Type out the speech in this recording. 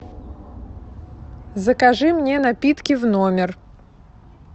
закажи мне напитки в номер